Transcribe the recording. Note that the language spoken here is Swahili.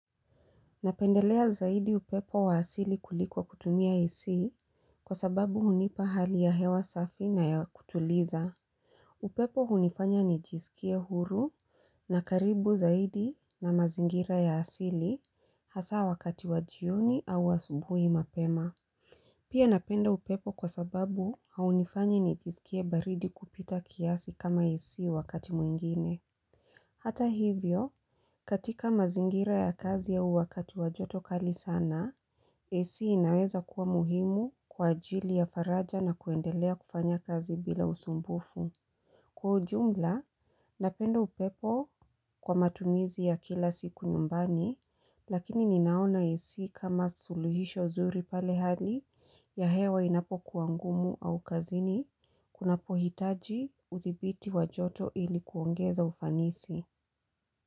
Napendelea zaidi upepo wa asili kuliko kutumia ac kwa sababu hunipa hali ya hewa safi na ya kutuliza. Upepo hunifanya nijisikie huru na karibu zaidi na mazingira ya asili hasa wakati wajioni au wa asubuhi mapema. Pia napenda upepo kwa sababu haunifanyi nijiskie baridi kupita kiasi kama ac wakati mwingine. Hata hivyo, katika mazingira ya kazi au wakati wajoto kali sana, ac inaweza kuwa muhimu kwa ajili ya faraja na kuendelea kufanya kazi bila usumbufu. Kwa ujumla, napendo upepo kwa matumizi ya kila siku nyumbani, lakini ninaona ac kama suluhisha nzuri pale hali ya hewa inapo kuwa ngumu au kazini, kunapo hitaji uthibiti wajoto ilikuongeza ufanisi.